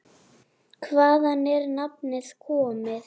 Hvaðan er nafnið komið?